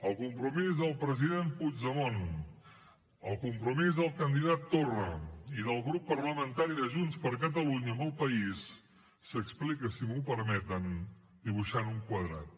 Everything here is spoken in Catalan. el compromís del president puigdemont el compromís del candidat torra i del grup parlamentari de junts per catalunya amb el país s’explica si m’ho permeten dibuixant un quadrat